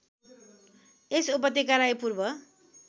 यस उपत्यकालाई पूर्व